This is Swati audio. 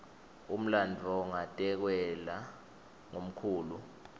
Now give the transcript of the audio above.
umlandvo ngatekelwa ngumkhulu